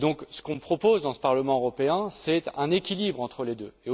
Ce que nous proposons au Parlement européen, c'est un équilibre entre les deux.